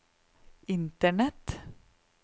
internett